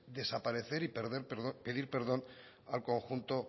desaparecer y pedir perdón al conjunto